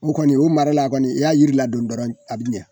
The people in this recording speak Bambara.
O kɔni o mara la kɔni i y'a yira ladon dɔrɔn a bi ɲɛ.